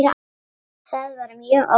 Það var mjög óvænt.